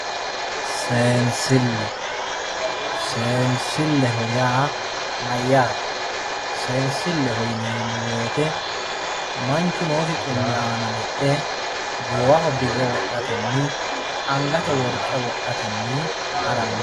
seensille seensilleho yaa mayyate? seensilleho yineemmo wote manchu noosi xumme aana lexxe goowaho birra wodhatenni angate worqe wodhatenni haranno.